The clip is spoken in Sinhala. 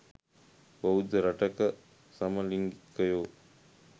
බෞද්ධ රටක සමලිංගිකයො